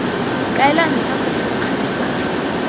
kaela ntlha kgotsa sekgala sa